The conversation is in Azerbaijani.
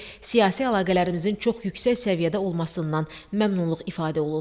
Siyasi əlaqələrimizin çox yüksək səviyyədə olmasından məmnunluq ifadə olundu.